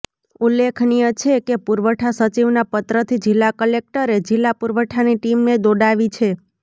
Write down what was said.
ઉલ્લેખનીય છે કે પુરવઠા સચિવના પત્રથી જિલ્લા કલેકટરે જિલ્લા પુરવઠાની ટીમને દોડાવી છે